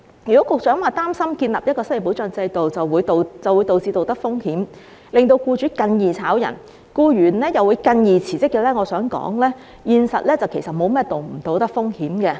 如果局長擔心建立一個失業保障制度，會導致道德風險，令僱主更容易解僱員工，僱員又會更容易辭職，我想說現實並沒有道德風險可言。